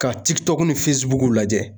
Ka ni lajɛ